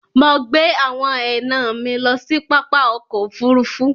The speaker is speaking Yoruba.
Mọ̀ gbẹ awọn ẹna mi lọ sí pápá ọkọ̀ òfurufú.